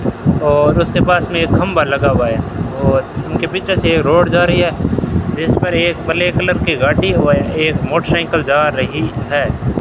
और उसके पास में एक खंभा लगा हुआ है और उनके पीछे से रोड जा रही है जिस पर एक ब्लैक कलर की गाड़ी और एक मोटरसाइकिल जा रही है।